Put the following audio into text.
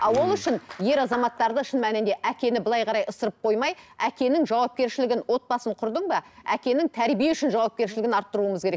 а ол үшін ер азаматтарды шын мәнінде әкені былай қарай ысырып қоймай әкенің жауапкершілігін отбасын құрдың ба әкенің тәрбие үшін жауапкершілігін арттыруымыз керек